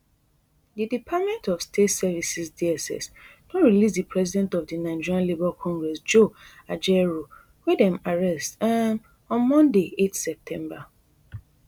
di department of state services dss don release di president of di nigeria labour congress joe ajaero wey dem arrest um on monday eight september